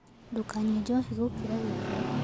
Ndũkanyũe njohĩ gũkĩra gĩkĩro